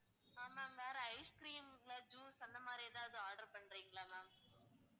அஹ் ma'am வேற ice cream இல்ல juice அந்த மாதிரி ஏதாவது order பண்றீங்களா ma'am